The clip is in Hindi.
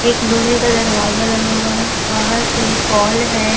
एक लोहे का दरवाजा लगा हुआ है बाहर से पोल है।